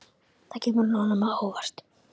Það kemur honum á óvart.